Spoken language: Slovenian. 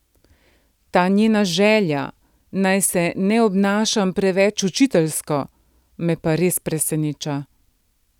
Ta njena želja, naj se ne obnašam preveč učiteljsko, me pa res preseneča.